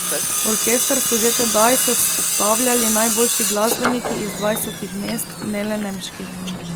Orkester so že tedaj sestavljali najboljši glasbeniki iz dvajsetih mest, ne le nemških.